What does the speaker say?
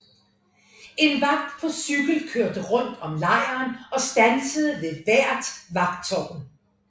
En vagt på cykel kørte rundt om lejren og standsede ved hvert vagttårn